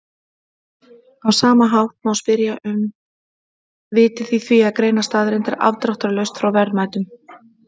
Á sama hátt má spyrja um vitið í því að greina staðreyndir afdráttarlaust frá verðmætum.